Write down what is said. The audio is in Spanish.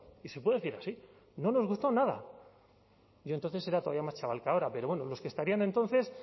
y se puede decir así no nos gustó nada yo entonces era todavía más chaval que ahora pero bueno los que estarían entonces